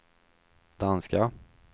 danska